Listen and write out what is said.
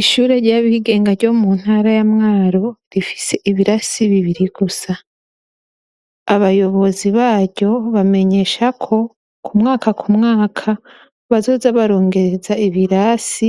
Ishure ry'abigenga ryo mu ntara ya Mwaro rifise ibirasi bibiri gusa. Abayobozi baryo bamenyesha ko ku mwaka ku mwaka, bazoza barongereza ibirasi